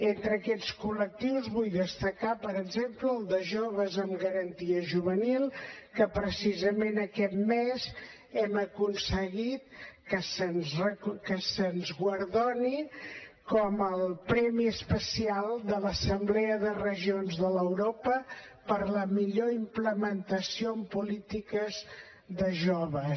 entre aquests collectius vull destacar per exemple el de joves amb garantia juvenil que precisament aquest mes hem aconseguit que se’ns guardoni com a premi especial de l’assemblea de regions d’europa per la millor implementació en polítiques de joves